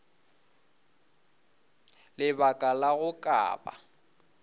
lebaka la go ka ba